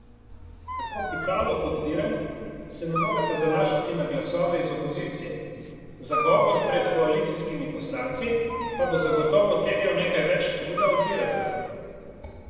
Tako Pikalo kot Virant se ne moreta zanašati na glasove iz opozicije, zagovor pred koalicijskimi poslanci pa bo zagotovo terjal nekaj več truda od Viranta.